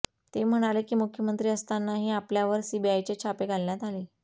ते म्हणाले की मुख्यमंत्री असतानाही आपल्यावर सीबीआयचे छापे घालण्यात आले